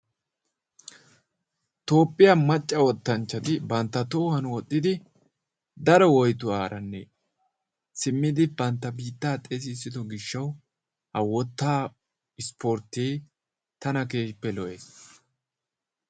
Toophiyaa macca wottanchchati banttaa tohuwaan woxxidi daro woyttuwaara simmidi bantta biittaa xeessissido gishshawu wottaa ispporttee tana keehippe lo"ees.